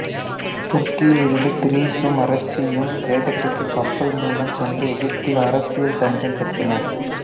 துருக்கியில் இருந்து இத்ரிசும் அரசியும் கிரேக்கத்திற்கு கப்பல் மூலம் சென்று எகிப்தில் அரசியல் தஞ்சம் பெற்றனர்